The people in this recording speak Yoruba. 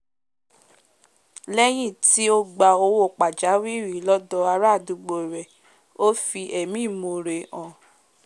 léyìn tí o gba owó pàjáwìrì lọ́dọ̀ ará àdúgbò rè o fi ẹ̀mí ìmore hàn